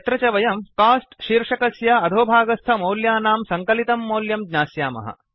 यत्र च वयं कोस्ट शीर्षकस्य अधोभागस्थमौल्यानां सङ्कलितं मौल्यं ज्ञास्यामः